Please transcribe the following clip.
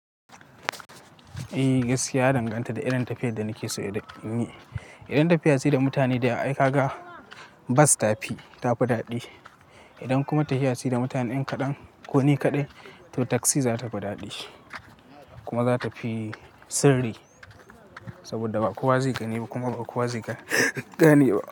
Eh gaskiya na danganta da irin tafiyar da kike so in yi. Idan tafiya ce da mutane da aika ga bas tafi, ta fi daɗi. Idan kuma tafiya ce da mutanen kaɗan ko ni kaɗai to taksi za ta fi daɗi kuma za ta fi sirri. Saboda ba kowa zai gane ba kuma ba kowa zai gane ba.